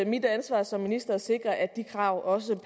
mit ansvar som minister at sikre at kravene